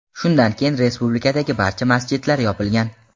Shundan keyin respublikadagi barcha masjidlar yopilgan.